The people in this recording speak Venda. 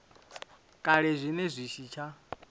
kale zwine zwa si tsha